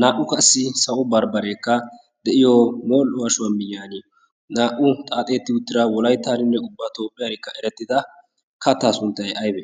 naa77u qassi sawo barbbareekka de7iyo mol7o ashuwaa miyyaan naa77u xaaxeetti uttira wolaittaaninne ubba toopphiyaarikka erettida kattaa sunttai aibe?